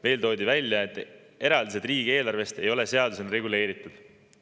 Veel toodi välja, et eraldised riigieelarvest ei ole seadusega reguleeritud.